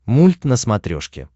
мульт на смотрешке